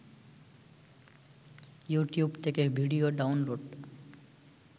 you tube থেকে video download